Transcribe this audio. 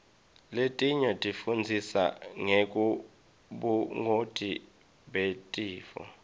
letinye tifundzisa ngebungoti betifo